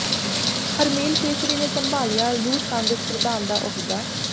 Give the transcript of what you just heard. ਹਰਮੇਲ ਕੇਸਰੀ ਨੇ ਸੰਭਾਲਿਆ ਯੂਥ ਕਾਂਗਰਸ ਪ੍ਰਧਾਨ ਦਾ ਅਹੁਦਾ